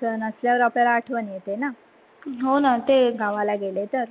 सण असल्यावरआपल्याला आठवन येत ना गावाला गेले तर.